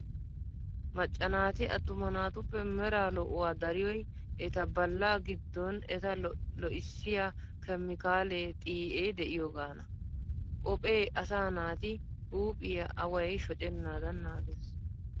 Macca naati attuma naatuppe meraa lo"uwaa dariyoy eta balla giddon eta lo'issiyaa keemikaale xii'ee de'iyoogaana. Qophee asaa naati huuphphiyaa away shoccennaadan naagees.